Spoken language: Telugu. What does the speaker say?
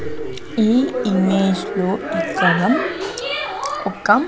ఈ ఇమేజ్ లో ఇక్కడ ఒక--